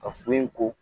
Ka so in ko